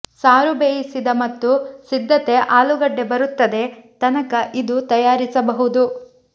ಸಾರು ಬೇಯಿಸಿದ ಮತ್ತು ಸಿದ್ಧತೆ ಆಲೂಗಡ್ಡೆ ಬರುತ್ತದೆ ತನಕ ಇದು ತಯಾರಿಸಬಹುದು